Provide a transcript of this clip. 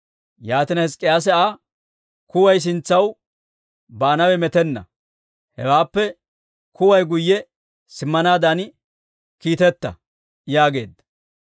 Yaatina Hizk'k'iyaase Aa, «Kuway sintsaw baanawe metenna; hewaappe kuway guyye simmanaadan kiiteta» yaageedda.